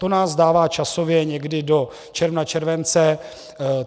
To nás dává časově někdy do června, července.